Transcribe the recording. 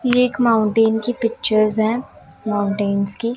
ये एक माउंटेन की पिक्चर्स हैं माउंटेंस की।